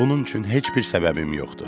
Bunun üçün heç bir səbəbim yoxdur.